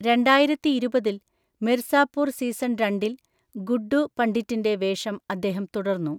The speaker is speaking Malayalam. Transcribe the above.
രണ്ടായിരത്തിഇരുപതിൽ, മിർസാപൂർ സീസൺ രണ്ടിൽ ഗുഡ്ഡു പണ്ഡിറ്റിന്റെ വേഷം അദ്ദേഹം തുടർന്നു.